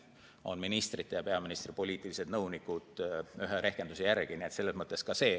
Nii palju on ministrite ja peaministri poliitilisi nõunikke ühe rehkenduse järgi.